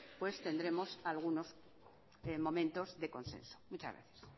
pues tendremos algunos momentos de consenso muchas gracias